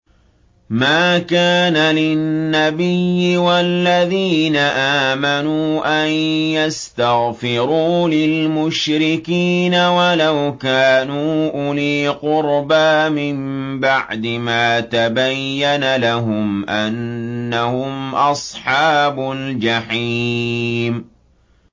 مَا كَانَ لِلنَّبِيِّ وَالَّذِينَ آمَنُوا أَن يَسْتَغْفِرُوا لِلْمُشْرِكِينَ وَلَوْ كَانُوا أُولِي قُرْبَىٰ مِن بَعْدِ مَا تَبَيَّنَ لَهُمْ أَنَّهُمْ أَصْحَابُ الْجَحِيمِ